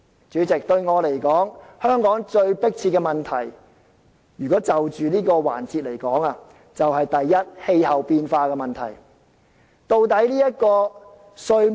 主席，對我而言，香港最迫切的問題，如果就着這個環節來說，第一，就是氣候變化問題。